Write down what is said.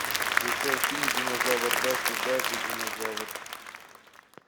включай фильм динозавр даффи дак и динозавр